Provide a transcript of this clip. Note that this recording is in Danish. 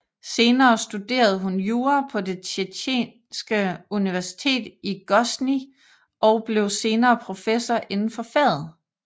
Senere studerede hun jura på Det Tjetjenske Universitet i Grosnij og blev senere professor indenfor faget